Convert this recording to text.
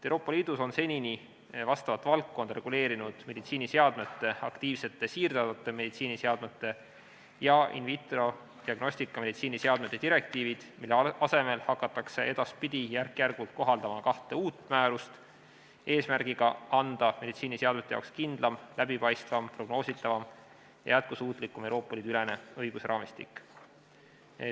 Euroopa Liidus on senini vastavat valdkonda reguleerinud meditsiiniseadmete, aktiivsete siirdatavate meditsiiniseadmete ja in vitro diagnostikameditsiiniseadmete direktiivid, mille asemel hakatakse edaspidi järk-järgult kohaldama kahte uut määrust, eesmärgiga luua meditsiiniseadmete jaoks kindlam, läbipaistvam, prognoositavam ja jätkusuutlikum Euroopa Liidu ülene õigusraamistik.